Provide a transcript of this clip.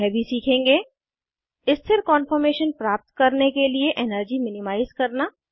हम यह भी सीखेंगे स्थिर कान्फॉर्मेशन प्राप्त करने के लिए एनर्जी मिनिमाइज़ करना